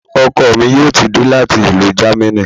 Ọkọ mi yóò ti dé láti ìlú Jamaní